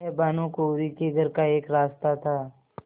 वह भानुकुँवरि के घर का एक रास्ता था